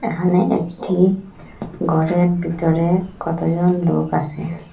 এহানে একটি গরের বিতরে কতজন লোক আসে।